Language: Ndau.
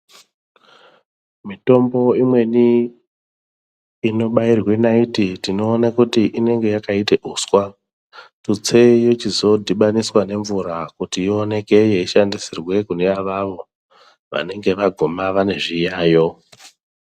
Mitombo imweni inobairwe naiti tinoona kuti imweni inonga yakaite uswa tutse yochizodhibaniswa nemvura kuti ioneke yeishandisirwe kune avo vanenge vaguma vanezviyayo.